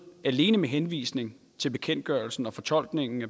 alene med henvisning til bekendtgørelsen og fortolkningen af